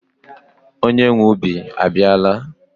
Onye nwee ubi abiala